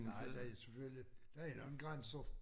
Det er der selvfølgelig der er en eller anden grænse